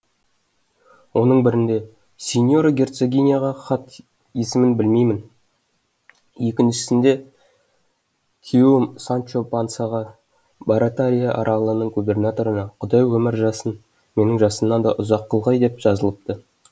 оның бірінде сеньора герцогиняға хат есімін білмеймін екіншісінде күйеуім санчо пансаға баратария аралының губернаторына құдай өмір жасын менің жасымнан да ұзақ қылғай деп жазылыпты